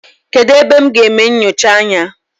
Kedụ ebe m ga-eme nnyocha anya?